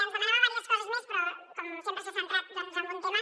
ens demanava diverses coses més però com sempre s’ha centrat doncs en un tema